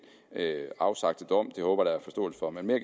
afsagte dom det håber der er forståelse for men mere